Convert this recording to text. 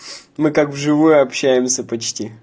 мы как в живую общаемся почти